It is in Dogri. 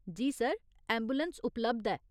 जी सर, ऐंबुलैंस उपलब्ध ऐ।